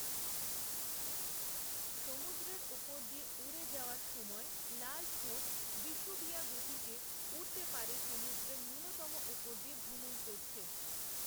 সমুদ্রের ওপর দিয়ে উড়ে যাওয়ার সময় লালঠোঁট বিষুবীয়া গতিতে উড়তে পারে সমুদ্রের নূন্যতম ওপর দিয়ে ভ্রমণ করছে।